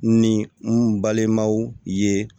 Ni n balimaw ye